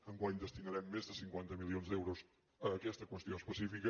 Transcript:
enguany destinarem més de cinquanta milions d’euros a aquesta qüestió específica